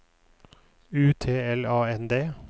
U T L A N D